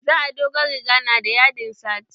Za a dogon riga na da yadin satin